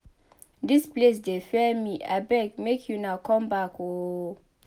Dis place dey fear me abeg make una come back ooo